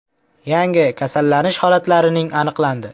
Yangi kasallanish holatlarining aniqlandi.